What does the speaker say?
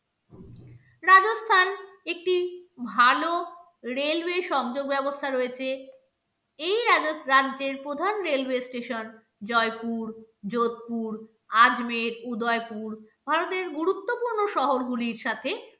ভালো railway সংযোগ ব্যবস্থা রয়েছে এই রাজ্যের প্রধান railway station জয়পুর, যোধপুর, আজমের, উদয়পুর, ভারতের গুরুত্বপূর্ণ শহরগুলির সাথে